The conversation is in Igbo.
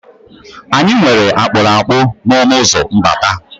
Anyị nwere akpụrụakpụ n' ọnụụzọ mbata.